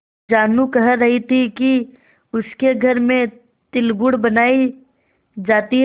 जानू कह रही थी कि उसके घर में तिलगुड़ बनायी जाती है